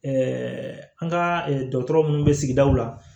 an ka dɔgɔtɔrɔ munnu bɛ sigidaw la